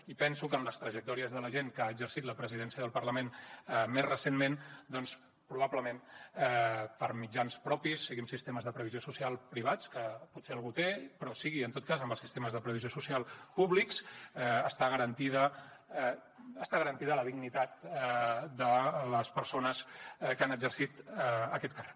i penso que en les trajectòries de la gent que ha exercit la presidència del parlament més recentment doncs probablement per mitjans propis sigui amb sistemes de previsió social privats que potser algú té però sigui en tot cas amb els sistemes de previsió social públics està garantida la dignitat de les persones que han exercit aquest càrrec